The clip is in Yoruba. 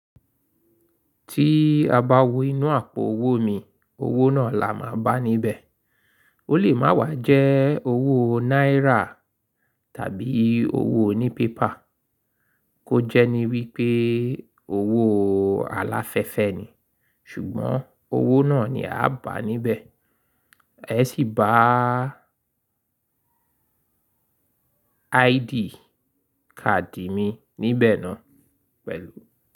Tí a bá wo inú àpò owó mi, owó náà la máa bá níbẹ̀. Ó lè má wà jẹ́ owó náírà tàbí owó oní pépà, kó jẹ́ ní wípé owó aláfẹ́fẹ́ ni, ṣùgbọ́n owó náà ni a bá níbẹ̀. Ẹ sì bá ID káàdì mi níbẹ̀ náà pẹ̀lú.